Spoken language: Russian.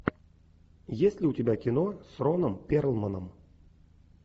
есть ли у тебя кино с роном перлманом